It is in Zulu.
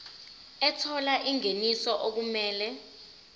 ethola ingeniso okumele